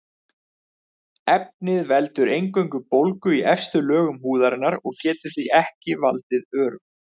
Efnið veldur eingöngu bólgu í efstu lögum húðarinnar og getur því ekki valdið örum.